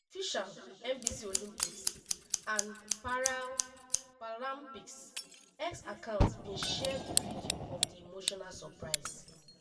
di official nbc olympics & paralympics x account bin share di video of di emotional surprise